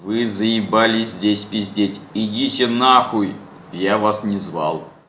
вы заебали здесь пиздеть идите нахуй я вас не звал